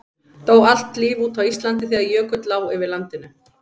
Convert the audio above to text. dó allt líf út á íslandi þegar jökull lá yfir landinu